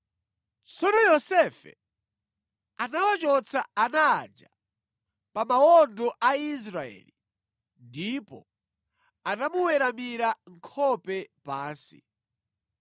Tsono Yosefe anawachotsa ana aja pa mawondo a Israeli ndipo anamuweramira nkhope pansi.